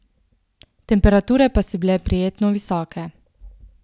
Temperature pa so bile prijetno visoke.